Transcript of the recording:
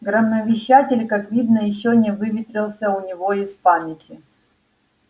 громовещатель как видно ещё не выветрился у него из памяти